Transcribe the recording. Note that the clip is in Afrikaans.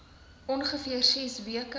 ongeveer ses weke